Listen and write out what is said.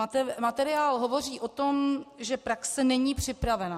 Materiál hovoří o tom, že praxe není připravena.